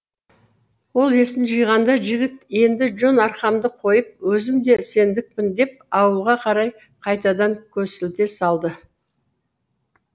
ол есін жиғанда жігіт енді жон арқамды қойып өзім де сендікпін деп ауылға қарай қайтадан көсілте салды